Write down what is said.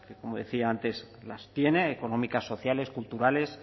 que como decía antes las tiene económicas sociales culturales